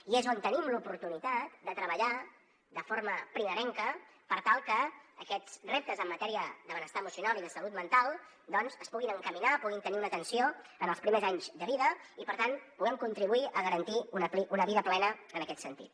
i és on tenim l’oportunitat de treballar de forma primerenca per tal que aquests reptes en matèria de benestar emocional i de salut mental doncs es puguin encaminar puguin tenir una atenció en els primers anys de vida i per tant puguem contribuir a garantir una vida plena en aquest sentit